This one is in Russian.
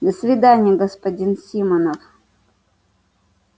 до свидания господин симонов